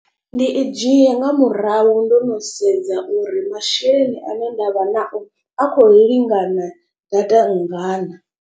Ndi i dzhia nga murahu ndo no sedza uri masheleni ane ndavha nao a kho lingana data nngana.